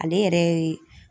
Ale yɛrɛ ye